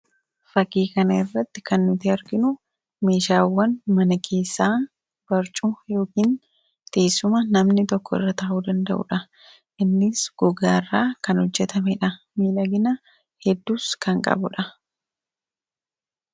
fakiikan irratti kan nuti arginu meeshaawwan mana keessaa barcu yookiin tiisuma namni tokko irra taa'uu danda'uudha innis gugaaraa kan hojjetame dha miidhagina hedduus kan qabuudha